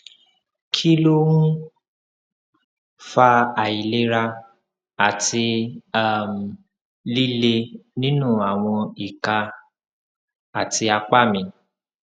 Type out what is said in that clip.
kí ló ń fa àìlera àti um lile nínú àwọn ìka àti apá mi